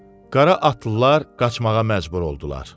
Qara atlılar qaçmağa məcbur oldular.